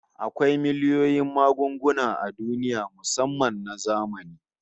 Akwai miliyoyin magunguna a duniya musamman na zamani